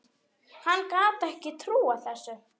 Hann gat ekki trúað þessu.